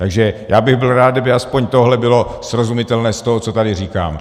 Takže já bych byl rád, kdyby aspoň tohle bylo srozumitelné z toho, co tady říkám.